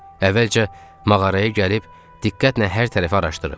Əvvəlcə mağaraya gəlib, diqqətlə hər tərəfi araşdırıb.